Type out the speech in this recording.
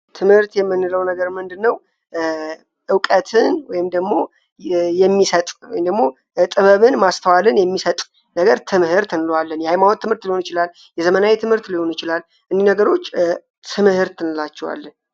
ትምህርት የምንለው ነገር ምንድ ነው እውቀትን ወይም ደግሞ የሚሰጥ ወይም ደግሞ ጥበብን ማስተዋልን የሚሰጥ ነገር ትምህርት እንለዋለን። የሃይማወት ትምህርት ሊሆን ይችላል፣ የዘመናዊ የትምህርት ሊሆኑ ይችላል እኚህ ነገሮች ትምህርት እንላቸዋለን።